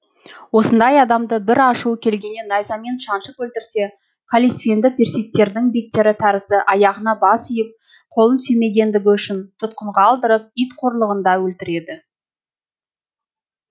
осындай адамды бір ашуы келгенде найзамен шаншып өлтірсе каллисфенді персидтердің бектері тәрізді аяғына бас иіп қолын сүймегендігі үшін тұтқынға алдырып ит қорлығында өлтіреді